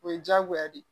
O ye diyagoya de ye